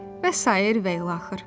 Və sairə və ilaxır.